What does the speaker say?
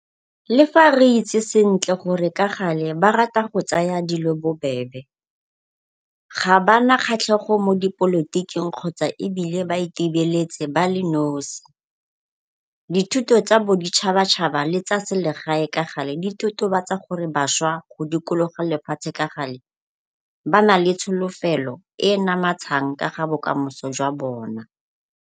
Le fa re itse sentle gore ka gale ba rata go tsaya dilo bobebe, ga ba na kgatlhego mo dipolotiking kgotsa ebile ba itebeletse ba le nosi, dithuto tsa bo ditšhabatšhaba le tsa selegae ka gale di totobatsa gore bašwa go dikologa lefatshe ka gale ba na le tsholofelo e e namatshang ka ga bokamoso jwa bona.